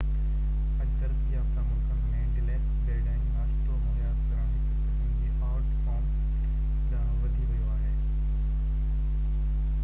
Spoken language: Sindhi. اڄ ترقي يافته ملڪن ۾ ڊيلڪس بيڊ ۽ ناشتو مهيا ڪرڻ هڪ قسم جي آرٽ فارم ڏانهن وڌي ويو آهي